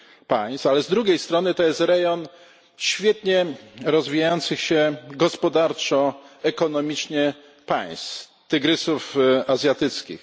państw, ale z drugiej strony jest to rejon świetnie rozwijających się gospodarczo, ekonomicznie państw tygrysów azjatyckich.